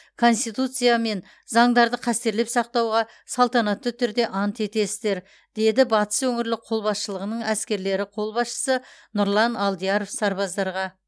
конституция мен заңдарды қастерлеп сақтауға салтанатты түрде ант етесіздер деді батыс өңірлік қолбасшылығының әскерлері қолбасшысы нұрлан алдияров сарбаздарға